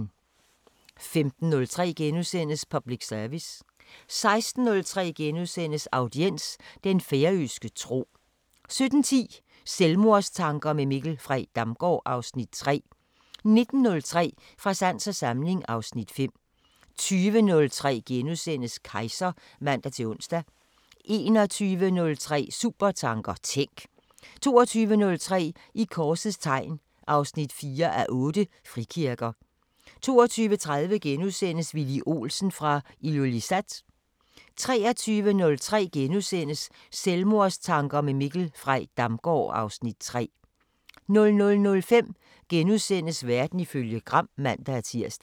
15:03: Public service * 16:03: Audiens: Den færøske tro * 17:10: Selvmordstanker med Mikkel Frey Damgaard (Afs. 3) 19:03: Fra sans og samling (Afs. 5) 20:03: Kejser *(man-ons) 21:03: Supertanker: Tænk! 22:03: I korsets tegn 4:8 – Frikirker 22:30: Villy Olsen fra Ilulissat * 23:03: Selvmordstanker med Mikkel Frey Damgaard (Afs. 3)* 00:05: Verden ifølge Gram *(man-tir)